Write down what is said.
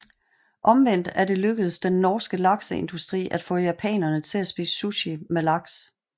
Omvendt er det lykkedes den norske lakseindustri at få japanerne til at spise sushi med laks